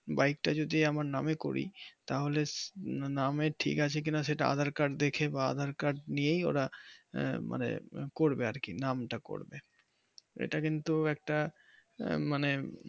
বাইকটা যদি আমার নামে করি তাহলে নামের ঠিক আছে কিনা সেটা aadhar card দেখে নিয়ে আবার মানে করবে আর কি নামটা করবে এটা কিন্তু একটা মানে